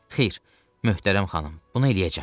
Xeyr, möhtərəm xanım, bunu eləyəcəm.